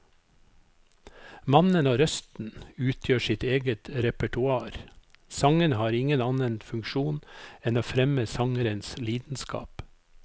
Mannen og røsten utgjør sitt eget repertoar, sangene har ingen annen funksjon enn å fremme sangerens lidenskap.